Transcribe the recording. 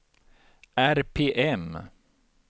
RPM